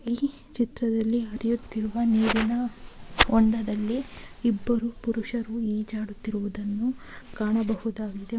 ಈ ಚಿತ್ರದಲ್ಲಿ ಹರಿಯುತ್ತಿರುವ ನೀರಿನ ಹೊಂಡದಲ್ಲಿ ಇಬ್ಬರು ಪುರುಷರು ಈಜಾಡುತ್ತಿರುವುದನ್ನು ಕಾಣಬಹುದಾಗಿದೆ.